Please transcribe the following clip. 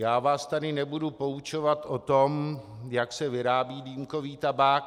Já vás tady nebudu poučovat o tom, jak se vyrábí dýmkový tabák.